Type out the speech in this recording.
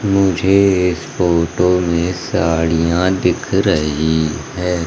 मुझे इस फोटो में साड़ियां दिख रही है।